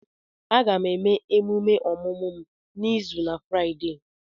Aga m eme emume ọmụmụ m n'izu na Fraịdee.